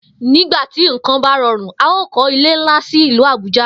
Nígbà tí nǹkan bá ro̩rùn, a óò kó̩ ilé ńlá sì ìlú Àbújá